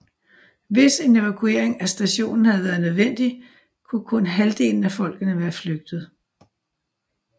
Hvis en evakuering af stationen havde været nødvendig kunne kun halvdelen af folkene være flygte